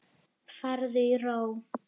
Farðu í ró.